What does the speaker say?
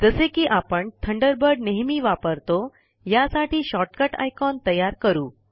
जसे कि आपण थंडरबर्ड नेहेमी वापरतो यासाठी शॉर्टकट आयकॉन तयार करू